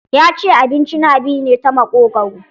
Ya ce abinci na bi ne ta maƙogwaro.